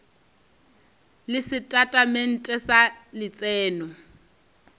le setatamente sa letseno le